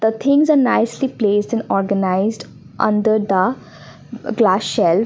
The things are nicely placed and organised under the glass shelf.